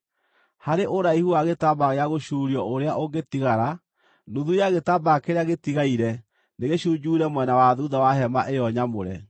Harĩ ũraihu wa gĩtambaya gĩa gũcuurio ũrĩa ũngĩtigara, nuthu ya gĩtambaya kĩrĩa gĩtigaire nĩ gĩcunjuure mwena wa thuutha wa hema ĩyo nyamũre.